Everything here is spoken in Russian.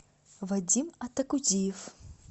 вадим атакудиев